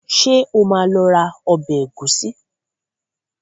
Ṣé o máa lọ ra ọbẹ̀ ẹ̀gúsí?